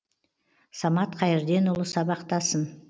самат қайырденұлы сабақтасын